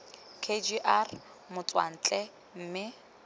k g r motswantle mme